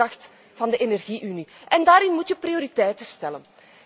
Dat is de kracht van de energie unie en daarin moet je prioriteiten stellen.